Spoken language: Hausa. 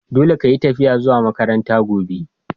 Dolle ka yi tafiya zuwa makaranta gobe!